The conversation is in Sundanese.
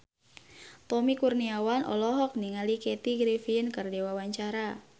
Tommy Kurniawan olohok ningali Kathy Griffin keur diwawancara